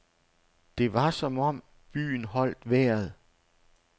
Det var som om byen holdt vejret.